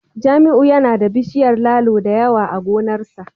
Jamiu yana da bishiyar lalo da yawa a gonarsa